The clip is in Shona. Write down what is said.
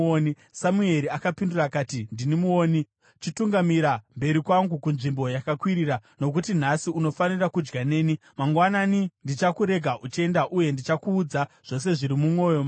Samueri akapindura akati, “Ndini muoni. Chitungamira mberi kwangu kunzvimbo yakakwirira, nokuti nhasi unofanira kudya neni, mangwanani ndichakurega uchienda uye ndichakuudza zvose zviri mumwoyo mako.